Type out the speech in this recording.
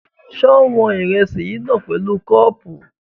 Ṣé wọn ìrẹsì yìí náà pẹ̀lú kọ́ọ̀pù?